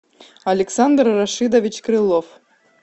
александр рашидович крылов